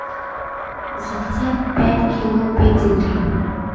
заказать пять кило педигри